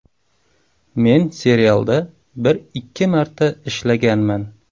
Men serialda bir-ikki marta ishlaganman.